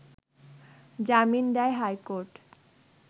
জামিন দেয় হাইকোর্ট